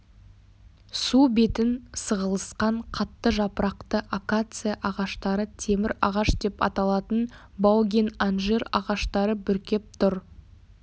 су бетін сығылысқан қатты жапырақты акация ағаштары темір ағаш деп аталатын баугин анжир ағаштары бүркеп тұр